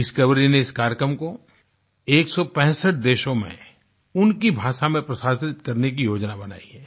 discovery ने इस कार्यक्रम को 165 देशों में उनकी भाषा में प्रसारित करने की योजना बनाई है